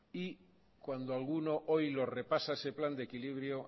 y cuando alguno hoy lo repasa ese plan de equilibrio